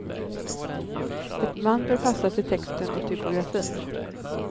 Ett band bör passa till texten och typografin.